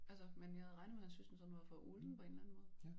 Altså men jeg havde regnet med at synes den sådan var for ulden på en eller anden måde